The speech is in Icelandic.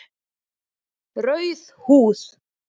Rauð húð